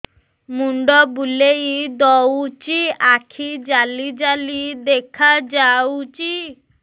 ମୁଣ୍ଡ ବୁଲେଇ ଦଉଚି ଆଖି ଜାଲି ଜାଲି ଦେଖା ଯାଉଚି